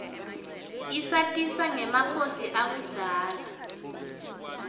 isatisa ngemakhosi akudzala